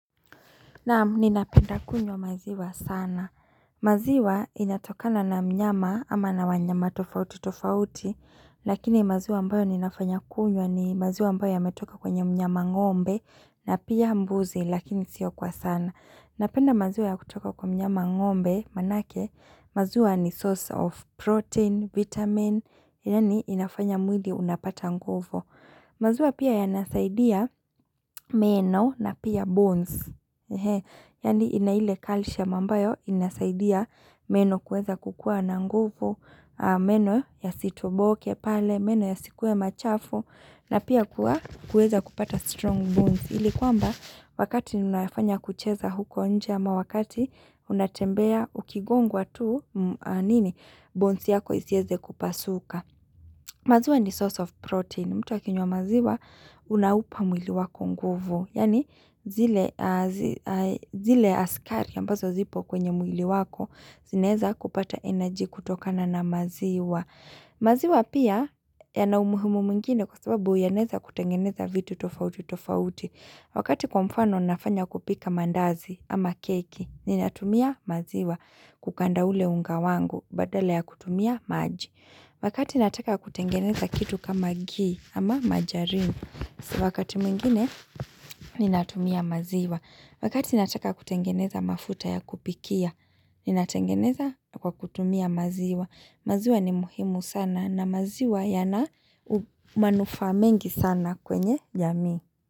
Naam ninapenda kunywa maziwa sana. Maziwa inatokana na mnyama ama na wanyama tofauti tofauti. Lakini maziwa ambayo ninafanya kunywa ni maziwa ambayo yametoka kwenye mnyama ng'ombe na pia mbuzi lakini siyo kwa sana. Napenda maziwa ya kutoka kwenye mnyama ng'ombe manake maziwa ni source of protein, vitamin, yaani inafanya mwili unapata nguvu. Maziwa pia yanasaidia meno na pia bones. Yani inaile calcium ambayo inasaidia meno kuweza kukua na nguvu, meno ya sito boke pale, meno ya sikuwe machafu na pia kuweza kupata strong bones. Hili kwamba wakati unafanya kucheza huko nje ama wakati unatembea ukigongwa tu nini bones yako isieze kupasuka. Maziwa ni source of protein. Mtu akinywa maziwa unaupa mwili wako nguvu. Yani zile askari ambazo zipo kwenye mwili wako zinaeza kupata energy kutokana na maziwa. Maziwa pia yanaumuhimu mwingine kwa sababu yanaeza kutengeneza vitu tofauti tofauti. Wakati kwa mfano nafanya kupika mandazi ama keki ni natumia maziwa kukanda ule unga wangu badala ya kutumia maji. Wakati nataka kutengeneza kitu kama gii ama majarini, wakati mwingine ninatumia maziwa. Wakati nataka kutengeneza mafuta ya kupikia, ninatengeneza kwa kutumia maziwa. Maziwa ni muhimu sana na maziwa yana manufaa mengi sana kwenye jamii.